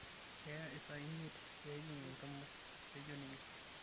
Ekeyaa isaai imiet peejing enkima," etejo ninye.